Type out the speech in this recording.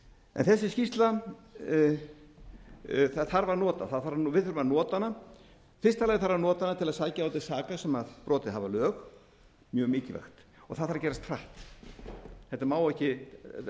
en við þurfum að nota þessa skýrslu í fyrsta lagi þarf að nota hana til að sækja þá til saka sem brotið hafa lög mjög mikilvægt og það þarf að gerast hratt þetta má ekki